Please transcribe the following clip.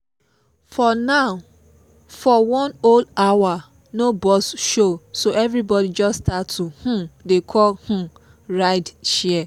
for one whole hour no bus show so everybody just start to um dey call um ride um share